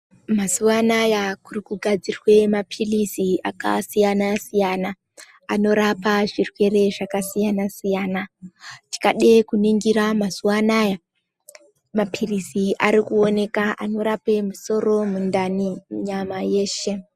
Mazuva anaya kuri kugadzirwa maphirizi akasiyana siyana anorape zvirwere zvakasiyana siyana tikade kuningira mazuva anaya maphirizi arikuoneka anorape musoro, mundani nyama yeshe.